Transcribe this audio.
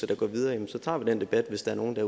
der går videre så tager vi den debat hvis der er nogen der